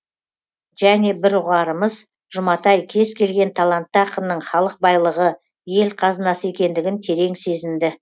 және бір ұғарымыз жұматай кез келген талантты ақынның халық байлығы ел қазынасы екендігін терең сезінді